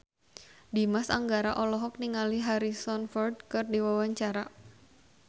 Dimas Anggara olohok ningali Harrison Ford keur diwawancara